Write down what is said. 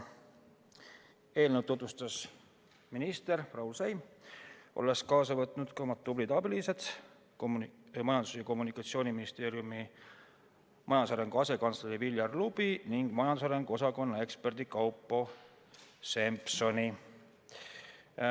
Eelnõu tutvustas minister Raul Siem, olles kaasa võtnud ka oma tublid abilised, Majandus- ja Kommunikatsiooniministeeriumi majandusarengu asekantsleri Viljar Lubi ning majandusarengu osakonna eksperdi Kaupo Sempelsoni.